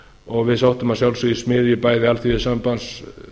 og við sóttum að sjálfsögðu í smiðju bæði alþýðusambands